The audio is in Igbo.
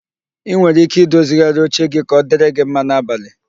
Ị nwere ike i dozigharị oche gi ka ọ dịrị gị mma n'abalị